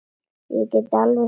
Ég get alveg skilið það.